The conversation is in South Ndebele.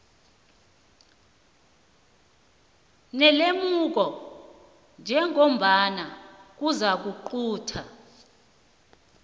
nelemuko njengombana kuzakuqunta